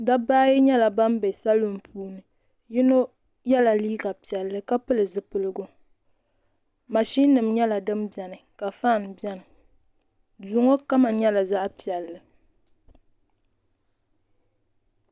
Dabba ayi nyɛla ban bɛ salun puuni yino yɛla liiga piɛlli ka pili zipiligu mashin nim nyɛla din biɛni ka faan biɛni duu ŋo kama nyɛla zaɣ piɛlli